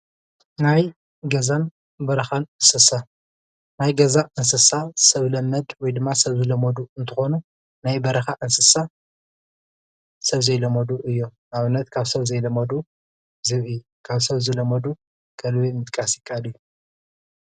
ናይ ገዛን ናይ በረኻን እንስሳ ናይ ገዛ እንስሳ ሰብ ለመድ ወይ ድማ ሰብ ዝለመዱ እንትኾኑ ናዬ በረኻ እንስሳ ሰብ ዘይለመዱ እዮም። ኣብነት ካብ ሰብ ዘይለመዱ ዝብኢ ፣ ካብ ሰብ ዝለመዱ ኸልቢ ምጥቃስ ይከኣል።